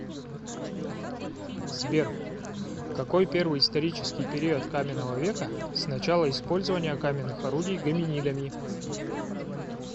сбер какой первый исторический период каменного века с начала использования каменных орудий гоминидами